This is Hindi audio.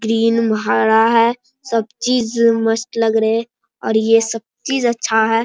ग्रीन हरा है सब चीज मस्त लग रहे और ये सब चीज अच्छा है।